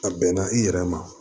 A bɛnna i yɛrɛ ma